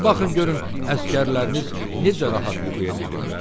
Bir baxın görün əsgərləriniz necə rahat yuxuya gediblər?